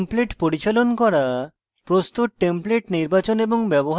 template পরিচালন করা প্রস্তুত টেমপ্লেট নির্বাচন এবং ব্যবহার করা